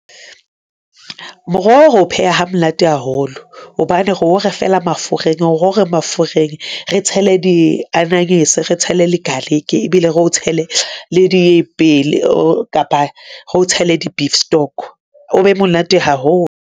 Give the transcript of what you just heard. Moroho, re o pheha ha monate haholo hobane re o re fela mafureng, re o re mafureng. Re tshele di ananyese, re tshele le garlic ebile re o tshele le dipelo kapa re o tshele di-beef stock o be monate haholo.